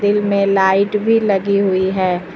इनमें लाइट भी लगी हुई है।